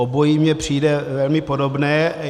Obojí mně přijde velmi podobné.